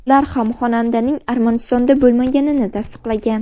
Ular ham xonandaning Armanistonda bo‘lmaganini tasdiqlagan.